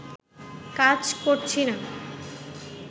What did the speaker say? কাজ করছি না